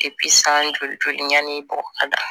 san joli joli yani bɔgɔ ka don